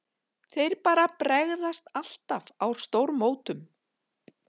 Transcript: Þeir bara bregðast alltaf á stórmótum.